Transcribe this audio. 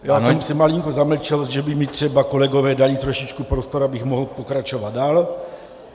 Já jsem se malinko zamlčel, že by mi třeba kolegové dali trošičku prostor, abych mohl pokračovat dál.